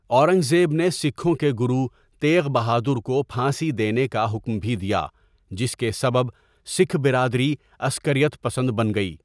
اورنگزیب نے سکھوں کے گرو تیغ بہادر کو پھانسی دینے کا حکم بھی دیا، جس کے سبب سکھ برادری عسکریت پسند بن گئی۔